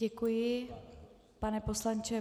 Děkuji, pane poslanče.